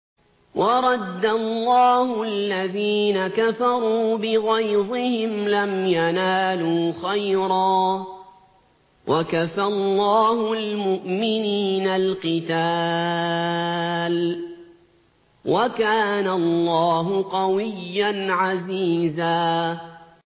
وَرَدَّ اللَّهُ الَّذِينَ كَفَرُوا بِغَيْظِهِمْ لَمْ يَنَالُوا خَيْرًا ۚ وَكَفَى اللَّهُ الْمُؤْمِنِينَ الْقِتَالَ ۚ وَكَانَ اللَّهُ قَوِيًّا عَزِيزًا